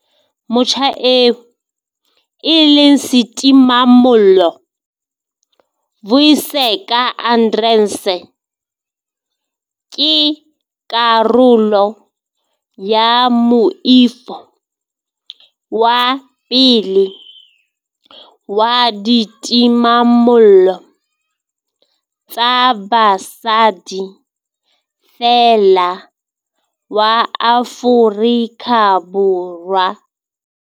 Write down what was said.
Motjha eo e leng setimamollo, Vuyiseka Arendse, ke karolo ya moifo wa pele wa ditimamollo tsa basadi feela wa Afrika Borwa.